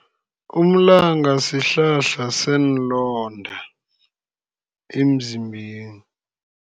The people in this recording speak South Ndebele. Umlanga sihlahla seenlonda emzimbeni.